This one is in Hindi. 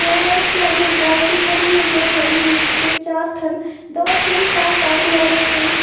हुआ है उसके आगे एक गाय भी खड़ी हुई है जो खड़ी हुई है जिसके चार थन दो सिंह चार टांगे और एक पूंछ--